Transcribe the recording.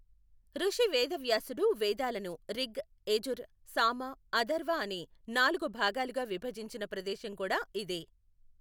ఋషి వేదవ్యాసుడు వేదాలను రిగ్, యజుర్, సామ, అథర్వ అనే నాలుగు భాగాలుగా విభజించిన ప్రదేశం కూడా ఇదే.